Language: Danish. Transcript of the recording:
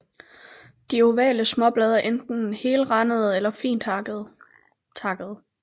De ovale småblade er enten helrandede eller fint takkede